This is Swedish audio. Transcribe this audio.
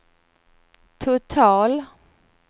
total